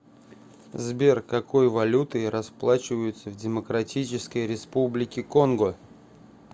сбер какой валютой расплачиваются в демократической республике конго